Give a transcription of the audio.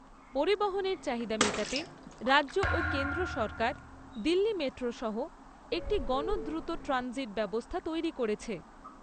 পরিবহণের চাহিদা মেটাতে রাজ্য ও কেন্দ্র সরকার দিল্লি মেট্রো সহ একটি গণ দ্রুত ট্রানজিট ব্যবস্থা তৈরি করেছে।